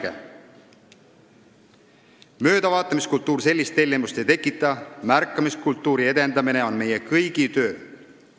/---/ Möödavaatamiskultuur sellist tellimust ei tekita, märkamiskultuuri edendamine on meie kõigi töö.